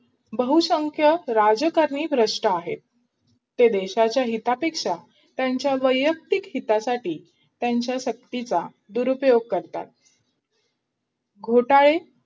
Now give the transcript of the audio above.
बहुसंख्य राजकारणी भ्रष्ट आहेत देशाच्या हितापेक्षा त्यांच्या वैयक्तिक हितासाठी त्यांच्या शक्तीचा दुरपयोग करतात घोटाळे